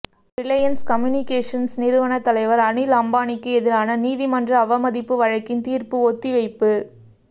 Reliance Communications நிறுவன தலைவர் அனில் அம்பானிக்கு எதிரான நீதிமன்ற அவமதிப்பு வழக்கின் தீர்ப்பு ஒத்திவைப்பு